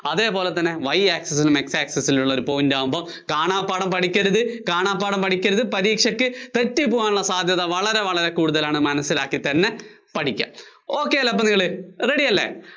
അതേ പോലെ തന്നെ Y access ല്‍ നിന്നും X access ലുള്ള ഒരു point ആകുമ്പോള്‍ കാണാപ്പാഠം പഠിക്കരുത്. കാണാപ്പാഠം പഠിക്കരുത്, പരീക്ഷക്ക് തെറ്റി പോകാനുള്ള സാധ്യത വളരെ വളരെ കൂടുതലാണ് മനസ്സിലാക്കിതന്നെ പഠിക്കുക. ok അല്ലേ അപ്പോ ready അല്ലേ